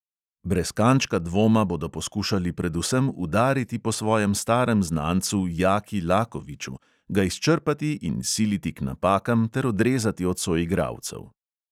Brez kančka dvoma bodo poskušali predvsem udariti po svojem starem znancu jaki lakoviču, ga izčrpati in siliti k napakam ter odrezati od soigralcev.